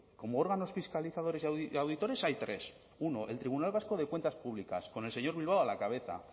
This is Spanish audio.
como órganos fiscalizadores y auditores hay tres uno el tribunal vasco de cuentas públicas con el señor bilbao a la cabeza